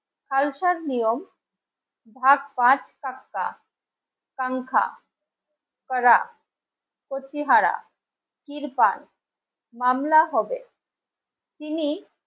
খালসার নিয়ম সংখ্যা প্রতিহারা তির্পাল মামলা হবে তিনি